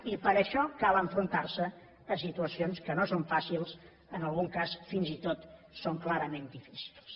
i per a això cal enfrontar se a situacions que no són fàcils en algun cas fins i tot són clarament difícils